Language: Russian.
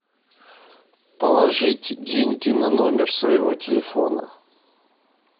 положить деньги на номер своего телефона